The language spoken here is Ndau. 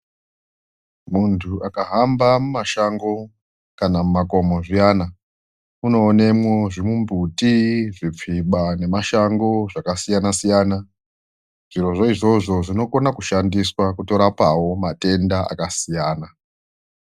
Muntu akahamba mumashango kana mumakomo zviyana unoonemwo zvimumbuti, zvipfiba nemashango zvakasiyana siyana zvirozvo izvozvo zvinokonawo kutoshandiswa kurapa matenda akasiyana.